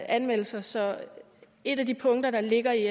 anmeldelser så et af de punkter der ligger i